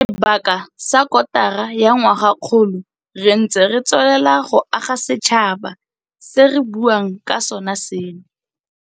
Sebaka sa kotara ya ngwagakgolo re ntse re tsweletse go aga setšhaba se re buang ka sona seno.